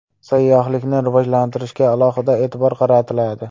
Sayyohlikni rivojlantirishga alohida e’tibor qaratiladi.